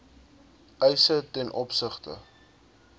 eise ten opsigte